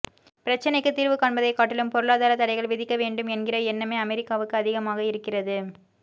பிரச்சினைக்கு தீர்வுகாண்பதை காட்டிலும் பொருளாதார தடைகள் விதிக்க வேண்டும் என்கிற எண்ணமே அமெரிக்காவுக்கு அதிகமாக இருக்கிறது